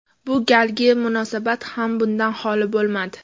Bu galgi munosabat ham bundan xoli bo‘lmadi.